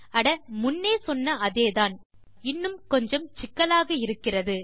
அட முன்னே சொன்ன அதேதான் இன்னும் கொஞ்சம் சிக்கலாக இருக்கிறது